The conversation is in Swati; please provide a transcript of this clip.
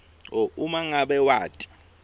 uma ngabe wati